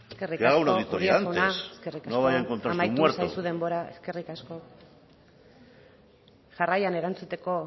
que haga una auditoría antes no vaya a encontrarse un muerto eskerrik asko uria jauna eskerrik asko amaitu zaizu denbora jarraian erantzuteko